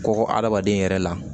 Kɔkɔ adamaden yɛrɛ la